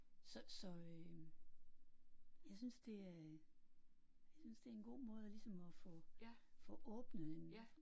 Så så øh. Jeg synes det er jeg synes det er en god måde at ligesom at få få åbnet en